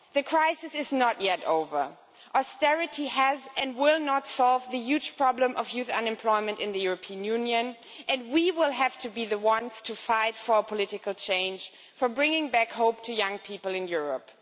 The crisis is not yet over, austerity has not and will not solve the huge problem of youth unemployment in the European Union and we will have to be the ones to fight for political change, for bringing back hope to young people in Europe.